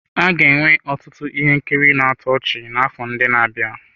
A ga-enwe ọtụtụ ihe nkiri na-atọ ọchị n'afọ ndị na-abịa.